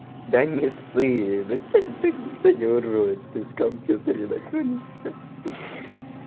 да не ссы никто не ворует из компьютере находишься